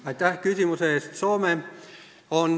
Aitäh küsimuse eest!